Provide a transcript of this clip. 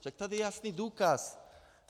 Však tady je jasný důkaz.